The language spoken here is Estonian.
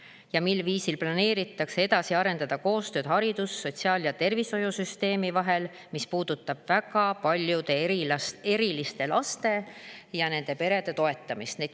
Ja mil viisil planeeritakse edasi arendada koostööd haridus-, sotsiaal- ja tervishoiusüsteemi vahel, mis puudutab väga paljude eriliste laste ja nende perede toetamist?